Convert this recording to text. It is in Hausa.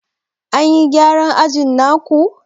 An yi gyaran ajin na ku?